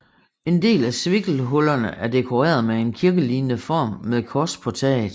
En del af svikkelhullerne er dekoreret med en kirkelignende form med kors på taget